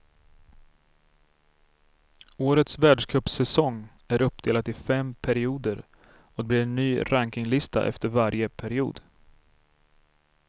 Årets världscupsäsong är uppdelad i fem perioder och det blir en ny rankinglista efter varje period.